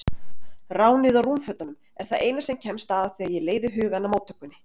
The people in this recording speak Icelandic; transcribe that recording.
Ránið á rúmfötunum er það eina sem kemst að þegar ég leiði hugann að móttökunni.